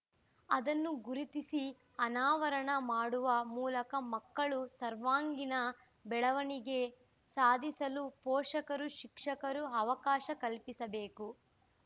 ಅದನ್ನು ಗುರುತಿಸಿ ಅನಾವರಣ ಮಾಡುವ ಮೂಲಕ ಮಕ್ಕಳು ಸರ್ವಾಂಗೀಣ ಬೆಳವಣಿಗೆ ಸಾಧಿಸಲು ಪೋಷಕರು ಶಿಕ್ಷಕರು ಅವಕಾಶ ಕಲ್ಪಿಸಬೇಕು